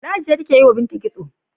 Ladi ce take yi wa Binta kitso.